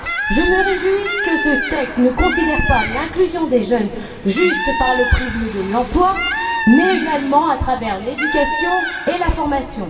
Je me réjouis que ce texte ne considère pas l'inclusion des jeunes juste par le prisme de l'emploi, mais également à travers celui de l'éducation et de la formation.